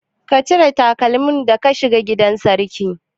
Ka cire takalmi da ka shiga gidan sarki?